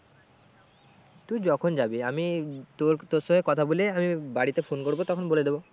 তুই যখন যাবি আমি তোর, তোর সঙ্গে কথা বলে আমি বাড়িতে phone করবো তখন বলে দেবো।